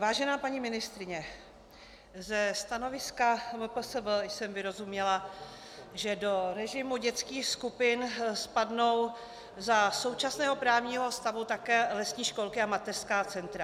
Vážená paní ministryně, ze stanoviska MPSV jsem vyrozuměla, že do režimu dětských skupin spadnou za současného právního stavu také lesní školky a mateřská centra.